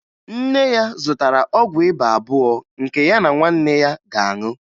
Nne ya zụtara ọgwụ ịba abụọ nke ya na nwanne ya ga-aṅụ